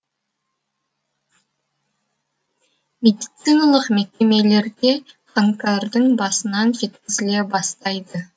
медициналық мекемелерге қаңтардың басынан жеткізіле бастайды